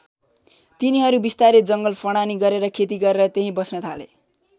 तिनीहरू बिस्तारै जङ्गल फडानी गरेर खेती गरेर त्यही बस्न थाले।